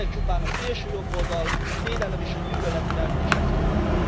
Ezek csupán a szélsőjobboldal, a félelem és a gyűlöletkeltés eszközei.